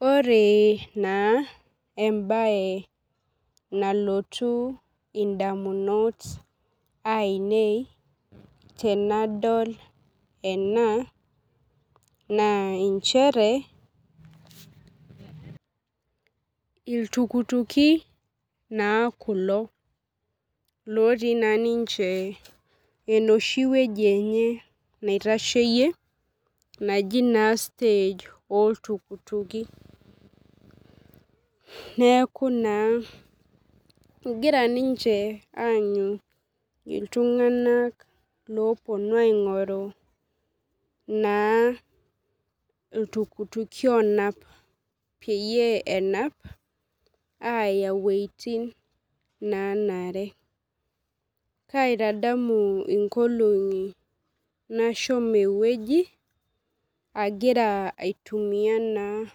Ore na embae nalotu ondamunot ainei tenadol ena na chere ltukutuki na kulo otii na ninche enoshi wueji enyebnaitasheyie naji stage oltukutuki egira ninche aanyu ltunganak oponu aingoru ltukutuki onape peya wuejitin nanare kaitadamu enkolong nashomo ewoi agira aitumia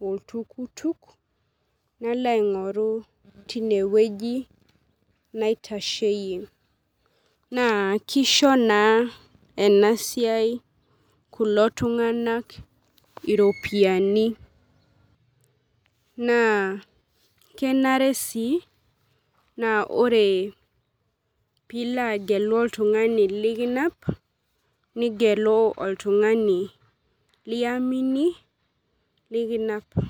oltukutuk nalo aingoru tinewueji naitashieyie na kisha na enasia kulo tunganak iropiyiani na kenare si na ore pilo agelu oltungani likinap ningelu oltungani liamini nikinap.